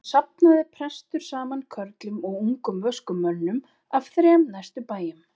Síðan safnaði prestur saman körlum og ungum vöskum mönnum af þrem næstu bæjum.